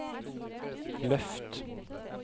løft